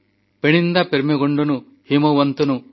ପେଣଣିନ୍ଦା ପେର୍ମେଗୋଣ୍ଡନୁ ହିମୱନ୍ତନୁ